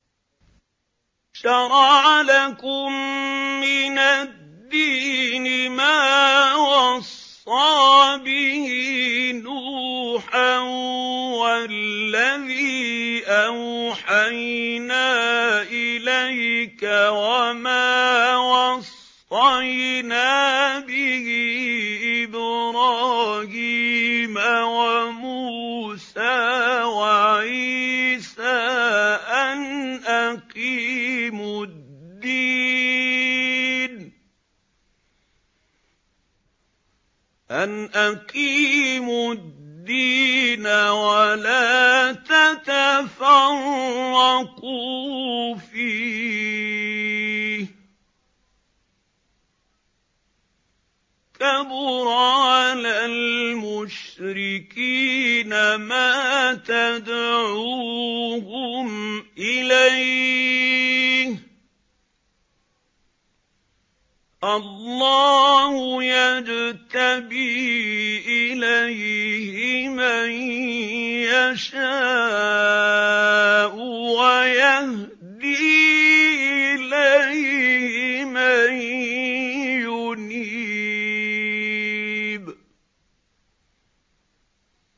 ۞ شَرَعَ لَكُم مِّنَ الدِّينِ مَا وَصَّىٰ بِهِ نُوحًا وَالَّذِي أَوْحَيْنَا إِلَيْكَ وَمَا وَصَّيْنَا بِهِ إِبْرَاهِيمَ وَمُوسَىٰ وَعِيسَىٰ ۖ أَنْ أَقِيمُوا الدِّينَ وَلَا تَتَفَرَّقُوا فِيهِ ۚ كَبُرَ عَلَى الْمُشْرِكِينَ مَا تَدْعُوهُمْ إِلَيْهِ ۚ اللَّهُ يَجْتَبِي إِلَيْهِ مَن يَشَاءُ وَيَهْدِي إِلَيْهِ مَن يُنِيبُ